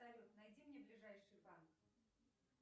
салют найди мне ближайший банк